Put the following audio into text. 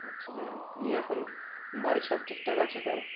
আচ্ছা যাই হোক নিয়ে এখন বাড়ির সব ঠিকঠাক আছে তো?